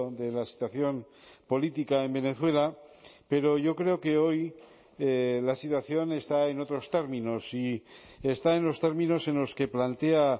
de la situación política en venezuela pero yo creo que hoy la situación está en otros términos y está en los términos en los que plantea